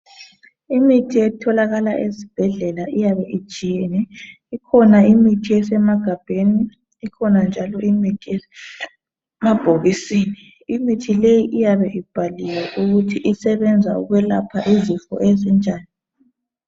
Imithi etholakala ezibhedlela iyabe itshiyene. Ikhona imithi esemagabheni ikhona njalo imithi esemabhokisini. Imithi leyi iyabe ibhaliwe ukuthi isebenza ukwelapha izifo ezinjani